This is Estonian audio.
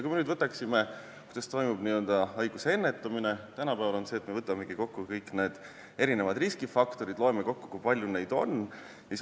Kui me nüüd vaatame, kuidas toimub haiguse ennetamine, siis tänapäeval me võtamegi kõik riskifaktorid, loeme kokku, kui palju neid on.